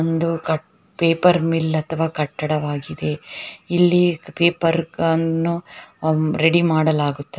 ಒಂದು paper mill ಅಥವಾ ಕಟ್ಟಡ ವಾಗಿದೆ ಇಲ್ಲಿ ಪೇಪರ್ ಗ ಅನ್ನು ರೆಡಿ ಮಾಡಲಾಗುತ್ತದೆ.